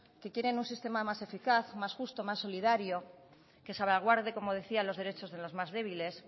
que quieren un sistema más eficaz más justo más solidario que salvaguarde como decía los derechos de los más débiles